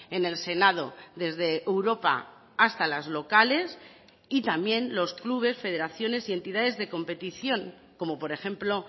en el senado desde europa hasta las locales y también los clubes federaciones y entidades de competición como por ejemplo